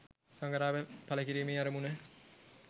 සඟරාව ඵල කිරීමේ අරමුණ